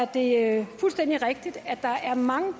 det er fuldstændig rigtigt at der er mange